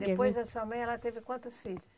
Depois da sua mãe ela teve quantos filhos?